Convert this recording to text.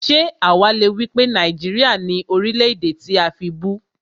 Ṣé àwá le wípé Nàìjíríà ni Orílè-èdè tí a fibú?